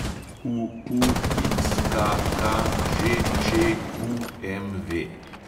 UUXKKŽČQMV